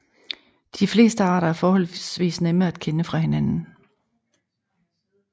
De fleste arter er forholdsvis nemme at kende fra hinanden